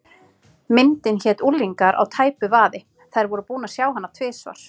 Myndin hét Unglingar á tæpu vaði, þær voru búnar að sjá hana tvisvar.